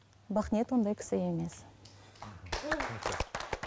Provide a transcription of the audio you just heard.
бақниет ондай кісі емес мхм